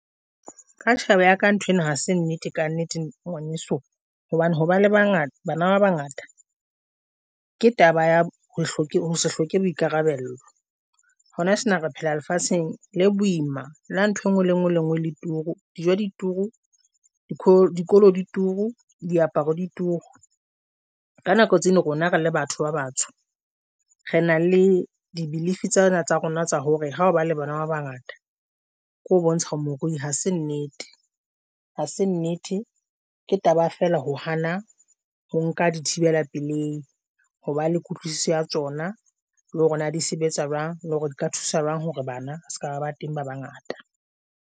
Ka tjhebo ya ka ntho eno, ha se nnete ka nnete ngwaneso hobane hoba le bangata bana ba bangata ke taba ya ho hloke ho se hloke boikarabello. Hona tjena re phela lefatsheng le boima le ntho engwe le ngwe le ngwe le turu, di dijo, dikoloi di turu, diaparo dituru. Ka nako tse le rona re le batho ba batsho re na le di-belief tsena tsa rona tsa hore ha ba le bana ba bangata ke ho bontsha o morui. Ha se nnete ha se nnete ke taba ya fela, ho hana ho nka dithibela pelehi hoba le kutlwisiso ya tsona, le hore na di sebetsa jwang le hore di ka thusa jwang hore bana se ka ba teng bana bangata.